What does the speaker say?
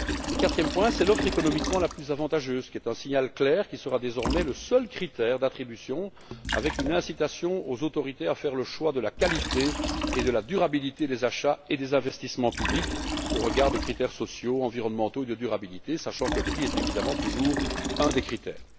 Le quatrième point concerne l'offre économiquement la plus avantageuse, qui est un signal clair. Ce sera désormais le seul critère d'attribution, qui incitera les autorités à faire le choix de la qualité et de la durabilité des achats et des investissements publics au regard de critères sociaux, environnementaux et de durabilité, sachant que le prix reste évidemment un des critères.